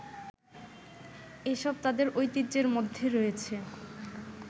এসব তাদের ঐতিহ্যের মধ্যে রয়েছে